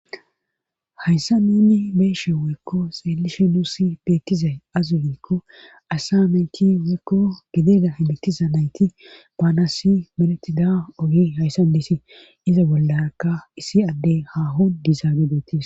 Hayssa neni beeshe woykko seelishe nuusi beettizay azugikko asamenki woykko gideda himitiza nayti baanasi menetida ogi hayssan desi iza bollaaka issi addey haho dizaagidetis.